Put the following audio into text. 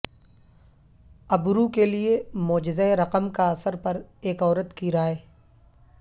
ابرو کے لئے معجزہ رقم کا اثر پر ایک عورت کی رائے